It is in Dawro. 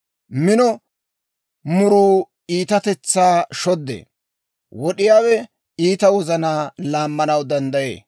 Mino muruu iitatetsaa shoddee; wad'd'iyaawe iita wozanaa laammanaw danddayee.